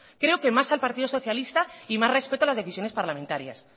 creo que más al partido socialista y más respeto a las decisiones parlamentarias